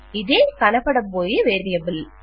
ఇదే కనపడబోయే వేరియబుల్